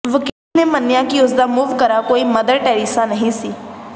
ਵਕੀਲ ਨੇ ਮੰਨਿਆ ਕਿ ਉਸ ਦਾ ਮੁਵਕਰਾ ਕੋਈ ਮਦਰ ਟੈਰੇਸਾ ਨਹੀਂ ਸੀ